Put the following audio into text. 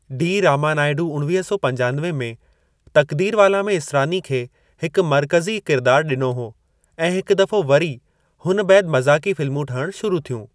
D. Ramanaidu उणवीह सौ पंजानवे में तकदीरवाला में इसरानी खे हिकु मरक़ज़ी किरदार डि॒नो हो ऐं हिकु दफ़ो वरी हुन बैदि मज़ाक़ी फिल्मूं ठहणु शुरु थियूं।